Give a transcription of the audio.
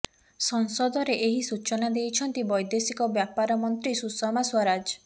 ସଂସଦରେ ଏହି ସୂଚନା ଦେଇଛନ୍ତି ବୈଦେଶିକ ବ୍ୟାପାର ମନ୍ତ୍ରୀ ସୁଷମା ସ୍ୱରାଜ୍